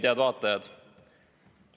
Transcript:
Head vaatajad!